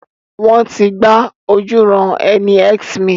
Wọ́n ti gba ojúuran-ẹni X mi.